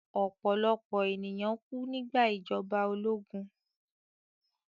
Ọ̀pọ̀lọ̀pọ̀ ènìyàn kú nígbà ìjọba ológun